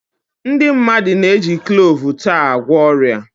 Ndị mmadụ na-eji kloovu taa agwọ ọrịa.